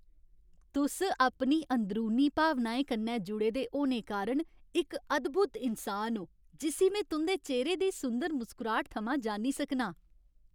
तुस अपनी अंदरूनी भावनाएं कन्नै जुड़े दे होने कारण इक अद्भुत इन्सान ओ जिस्सी में तुं'दे चेह्‌रे दी सुंदर मुसकराह्ट थमां जान्नी सकनां।